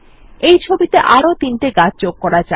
এই ছবিতে আরো তিনটি গাছ যোগ করা যাক